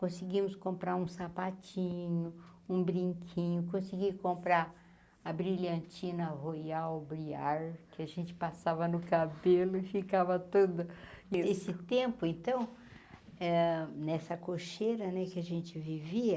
Conseguimos comprar um sapatinho, um brinquinho, consegui comprar a brilhantina, royal briar, que a gente passava no cabelo e ficava todo... Nesse tempo, então, eh nessa cocheira né que a gente vivia,